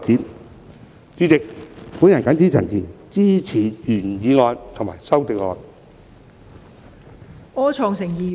代理主席，我謹此陳辭，支持原議案及修正案。